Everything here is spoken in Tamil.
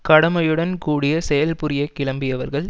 கடமையுடன் கூடிய செயல்புரியக் கிளம்பியவர்கள்